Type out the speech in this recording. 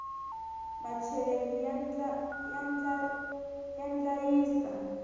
macheleni ya ndlayisa